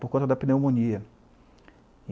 Por conta da pneumonia.